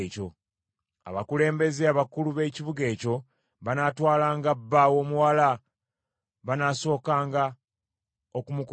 Abakulembeze abakulu b’ekibuga ekyo banaatwalanga bba w’omuwala, banaasookanga okumukubamu.